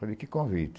Falei, que convite?